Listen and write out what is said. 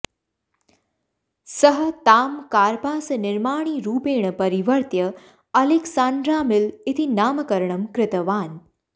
सः तां कार्पासनिर्माणीरूपेण परिवर्त्य अलेक्सान्ड्रामिल् इति नामकरणं कृतवान्